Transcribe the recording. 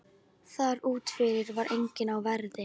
Þar úti fyrir var enginn á verði.